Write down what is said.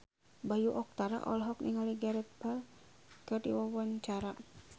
Bayu Octara olohok ningali Gareth Bale keur diwawancara